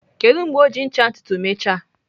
Kedu mgbe o ji ncha ntutu mechaa?